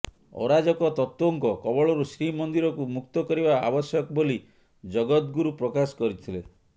ଅରାଜକ ତତ୍ତ୍ୱଙ୍କ କବଳରୁ ଶ୍ରୀମନ୍ଦିରକୁ ମୁକ୍ତ କରିବା ଆବଶ୍ୟକ ବୋଲି ଜଗଦ୍ଗୁରୁ ପ୍ରକାଶ କରିଥିଲେ